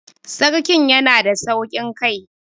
Sarkin yanada sauƙin kai